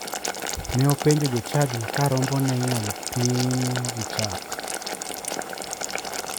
Ne openjo jochadi ka rombone inyalo pim gi chak.